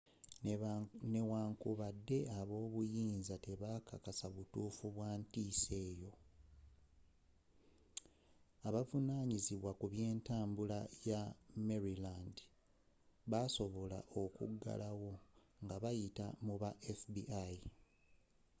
newankubadde abobuyinza tebekakasa butuufu bwa ntiisa eyo abavunanyizibwa ku byentambula ya maryland baasobola okuggalawo ngabayita mu ba fbi